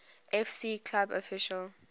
fc club official